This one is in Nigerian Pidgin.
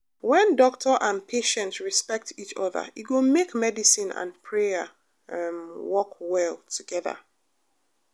when doctor and patient respect each other e go make medicine and prayer um work well together.